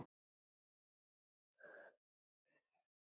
Sundinu sleppti hann ekki.